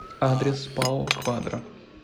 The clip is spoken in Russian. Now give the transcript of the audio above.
адрес пао квадра